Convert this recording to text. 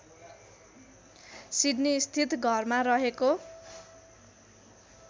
सिड्नीस्थित घरमा रहेको